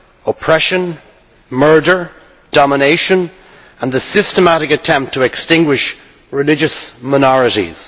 oppression, murder, domination and a systematic attempt to extinguish religious minorities.